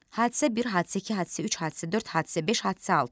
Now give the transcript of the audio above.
Hadisə 1, hadisə 2, hadisə 3, hadisə 4, hadisə 5, hadisə 6.